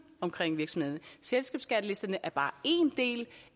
omkring virksomhederne selskabsskattelisterne er bare en del